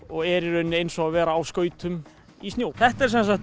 og er í rauninni eins og að vera á skautum í snjó þetta er sem sagt